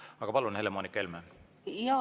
Aga palun, Helle-Moonika Helme!